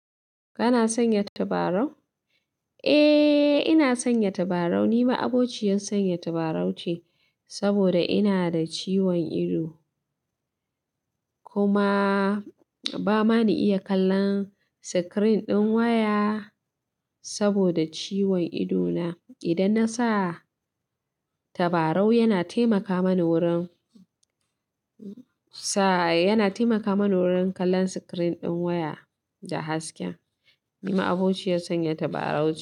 Kana sanya tabarau? Eh, ina sanya tabarau. Ni ma'abociyar sanya tabarau ce saboda ina da ciwon ido. Kuma ba ma ni iya kallon screen ɗin waya saboda ciwon ido na. Idan na sa tabarau yana taimaka mani wurin sa, yana taimaka mani wurin kallon screen ɗin waya da haske. Ni ma'a bociyar sanya tabarau ce.